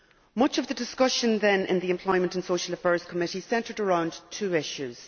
Much of the discussion then in the Employment and Social Affairs Committee centred around two issues.